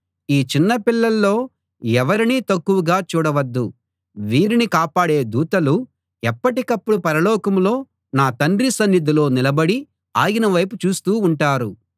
10 ఈ చిన్నపిల్లల్లో ఎవరినీ తక్కువగా చూడవద్దు వీరిని కాపాడే దూతలు ఎప్పటికప్పుడు పరలోకంలో నా తండ్రి సన్నిధిలో నిలబడి ఆయన వైపు చూస్తూ ఉంటారు